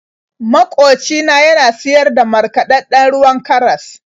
Makoci na yana siyar da markaɗaɗɗen ruwan karas.